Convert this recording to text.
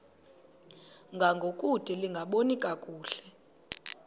ngangokude lingaboni kakuhle